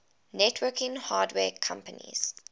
networking hardware companies